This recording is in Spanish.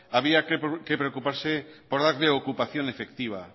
habría que preocuparse por darle ocupación efectiva